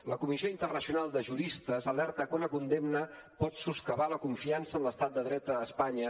la comissió internacional de juristes alerta que una condemna pot soscavar la confiança en l’estat de dret a espanya